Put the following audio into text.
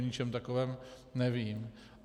O ničem takovém nevím.